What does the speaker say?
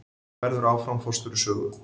Verður áfram forstjóri Sögu